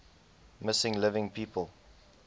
missing living people